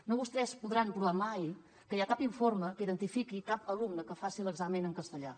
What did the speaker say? no vostès no podran provar mai que hi ha cap informe que identifiqui cap alumne que faci l’examen en castellà